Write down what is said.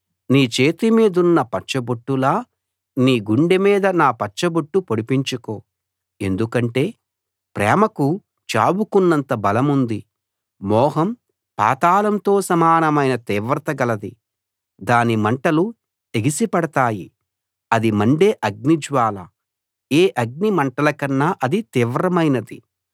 నీ చేతిమీదున్న పచ్చబొట్టులా నీ గుండె మీద నా పచ్చబొట్టు పొడిపించుకో ఎందుకంటే ప్రేమకు చావుకున్నంత బలముంది మోహం పాతాళంతో సమానమైన తీవ్రత గలది దాని మంటలు ఎగిసి పడతాయి అది మండే అగ్నిజ్వాల ఏ అగ్ని మంటలకన్నా అది తీవ్రమైనది